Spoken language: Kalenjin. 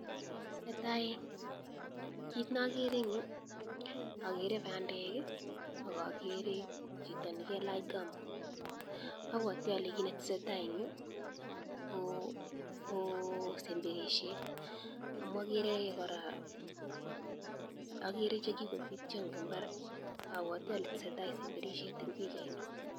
Natai kit nakere in yu akere bandek akakere chito nikelach gumboot, apwati ale kit netesetai ing yu kosemberishet amu akere kora chekikopitya en imbar apatwi ale tesetai sembershet en pichaini.